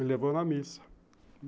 Me levou na missa.